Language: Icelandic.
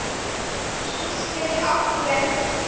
Ís getur átt við